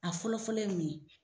A fɔlɔfɔlɔ ye mun ye.